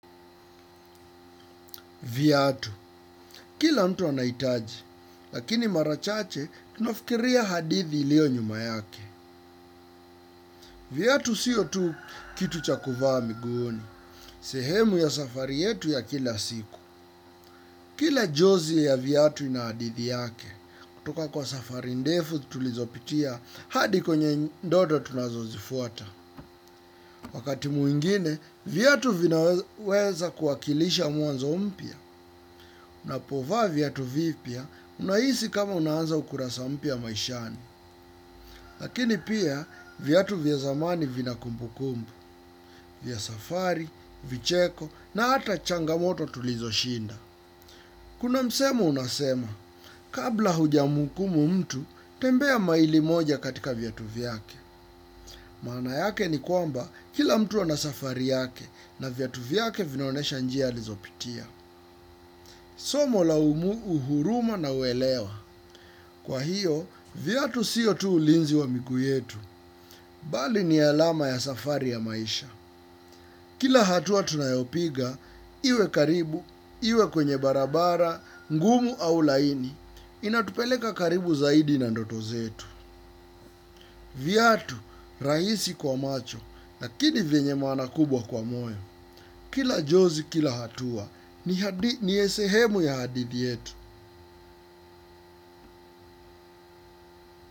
Viatu. Kila mtu anaitaji, lakini mara chache, nafikiria hadithi ilio nyuma yake. Viatu siyo tu kitu cha kuvaa miguuni. Sehemu ya safari yetu ya kila siku. Kila jozi ya viatu na hadithi yake. Kutoka kwa safari ndefu tulizopitia hadi kwenye ndoto tunazo zifuata. Wakati mwingine, viatu vinaweza kuakilisha mwanzo mpya, unapovaa viatu vipya unahisi kama unaanza ukurasa mpya maishani. Lakini pia, viatu vya zamani vina kumbu kumbu, vya safari, vicheko, na ata changamoto tulizo shinda. Kuna msemo unasema, kabla huja muhukumu mtu, tembea maili moja katika viatu vyake. Maana yake ni kwamba kila mtu ana safari yake na viatu vyake vinaonesha njia alizo pitia. Somo la umu uhuruma na uelewa. Kwa hiyo, viatu siyo tu ulinzi wa miku yetu. Bali ni alama ya safari ya maisha. Kila hatua tunayopiga, iwe karibu, iwe kwenye barabara, ngumu au laini. Inatupeleka karibu zaidi na ndoto zetu. Viatu, rahisi kwa macho, lakini venye maana kubwa kwa moyo. Kila jozi kila hatua, nie sehemu ya hadithi yetu.